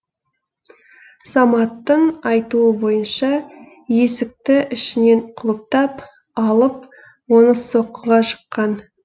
саматтың айтуы бойынша есікті ішінен құлыптап алып оны соққыға жыққан